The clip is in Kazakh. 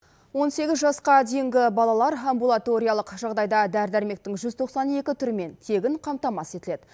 он сегіз жасқа дейінгі балалар амбулаториялық жағдайда дәрі дәрмектің жүз тоқсан екі түрімен тегін қамтамасыз етіледі